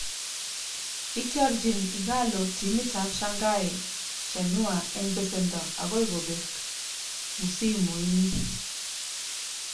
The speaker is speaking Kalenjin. Itiorijin Ighalo timitab Shanghai Shenhua eng besendo agoi kobek msimu ini